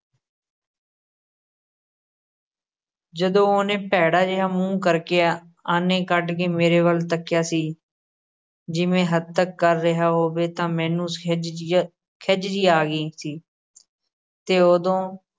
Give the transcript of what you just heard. ਜਦੋਂ ਉਹਨੇ ਭੈੜਾ ਜਿਹਾ ਮੂੰਹ ਕਰ ਕੇ, ਆਨੇ ਕੱਢ ਕੇ ਮੇਰੇ ਵੱਲ ਤੱਕਿਆ ਸੀ, ਜਿਵੇਂ ਹੱਤਕ ਕਰ ਰਿਹਾ ਹੋਵੇ, ਤਾਂ ਮੈਨੂੰ ਖਿਝ ਜਿਹੀ ਆ, ਖਿਝ ਜਿਹੀ ਆ ਗਈ ਸੀ ਤੇ ਉਦੋਂ